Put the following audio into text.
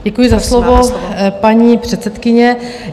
Děkuji za slovo, paní předsedkyně.